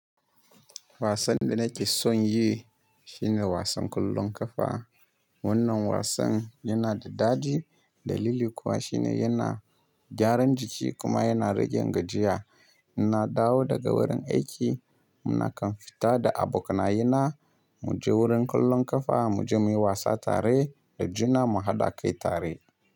Wasan da nake son yi shi ne wasan ƙollon ƙafa. Wannan wasan yana da dadi. Dalili kuwa shi ne yana gyaran jiki kuma yana rage gajiya. In na dawo daga wurin aiki, muna kan fita da abokanaye na, mu je wurin ƙollon ƙafa mu je muyi wasa tare da juna mu haɗa kai tare.